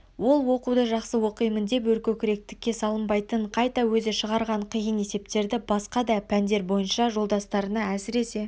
ол оқуды жақсы оқимын деп өркөкіректікке салынбайтын қайта өзі шығарған қиын есептерді басқа да пәндер бойынша жолдастарына әсіресе